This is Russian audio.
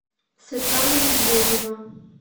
светлана медведева